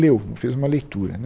Leu, fez uma leitura né.